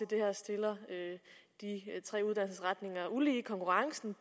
det her stiller de tre uddannelsesretninger ulige i konkurrencen